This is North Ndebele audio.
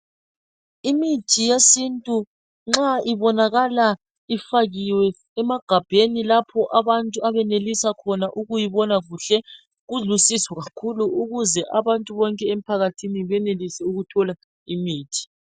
Imithi eyesintu nxa ibonakala ifakiwe emagabheni lapho abantu abayenelisa khona ukuyibona kuhle kulusizo kakhulu ukuze abantu bonke ephakathini benelise ukuthola imiti.